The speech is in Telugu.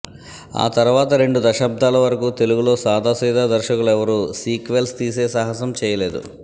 ఆ తర్వాత రెండు దశాబ్దాల వరకూ తెలుగులో సాదాసీదా దర్శకులెవరూ సీక్వెల్స్ తీసే సాహసం చేయలేదు